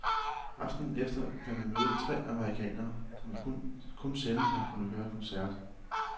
Aftenen efter kan vi møde tre amerikanere, som vi kun sjældent har kunnet høre i koncert.